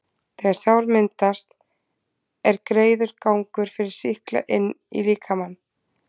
þegar sár myndast, er greiður gangur fyrir sýkla inn í líkamann.